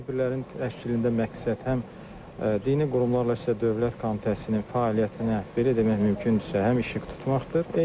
Bu tədbirlərin təşkilində məqsəd həm dini qurumlarla isə Dövlət Komitəsinin fəaliyyətinə, belə demək mümkündürsə, həm işıq tutmaqdır.